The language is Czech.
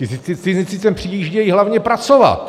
Ti cizinci sem přijíždějí hlavně pracovat.